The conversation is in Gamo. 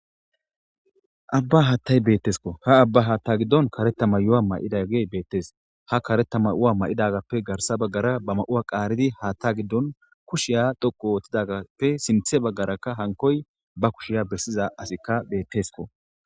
abba haattay beettesko ha abba haatta giddon karetama yowa may7idage beettes ha karetama7ua ma7idagappe garsa baggara ba ma7uwa qaaridi haatta giddon kushiya dhoqu oottidagappe sinthe baggaraka hankoy ba kushiya bessiza asikka beettesko